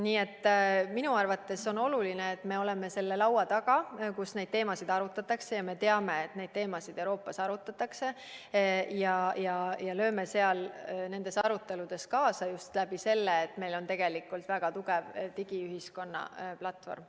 Nii et minu arvates on oluline, et me oleme selle laua taga, kus neid teemasid arutatakse – ja me teame, et neid teemasid Euroopas arutatakse –, ja lööme nendes aruteludes kaasa just selle kaudu, et meil on tegelikult väga tugev digiühiskonna platvorm.